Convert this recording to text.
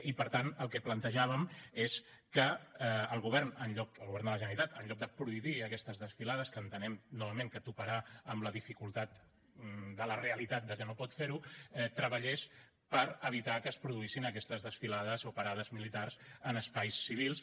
i per tant el que plantejàvem és que el govern de la generalitat en lloc de prohibir aquestes desfilades que entenem novament que toparà amb la dificultat de la realitat que no pot fer ho treballés per evitar que es produïssin aquestes desfilades o parades militars en espais civils